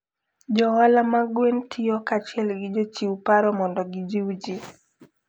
Jo ohala mag gwen tiyo kanyachiel gi jochiw paro mondo gijiw ji.